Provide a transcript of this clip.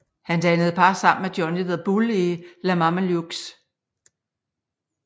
Han dannede par sammen med Johnny the Bull i The Mamalukes